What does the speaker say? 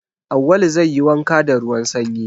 Awwalu zai yi wanka da ruwan sanyi.